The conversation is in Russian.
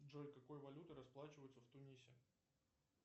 джой какой валютой расплачиваются в тунисе